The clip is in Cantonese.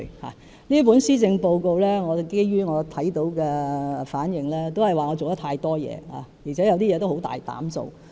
據我看到各方對這份施政報告的反應，都是指我做太多事，而且有些事很大膽做。